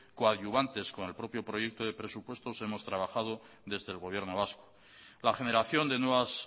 coadyuvantes con el propio proyecto de presupuestos hemos trabajado desde el gobierno vasco la generación de nuevas